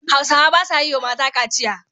Hausawa ba sa yi wa mata kaciya.